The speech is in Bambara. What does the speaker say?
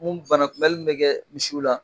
Mun banakunbɛli mun bɛ kɛ misiw la